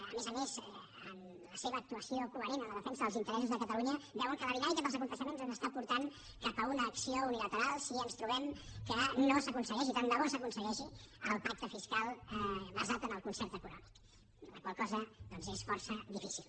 a més a més amb la seva actuació coherent en la defensa dels interessos de catalunya veuen que la dinàmica dels esdeveniments ens està portant cap a una acció unilateral si ens trobem que no s’aconsegueix i tan de bo s’aconsegueixi el pacte fiscal basat en el concert econòmic la qual cosa doncs és força difícil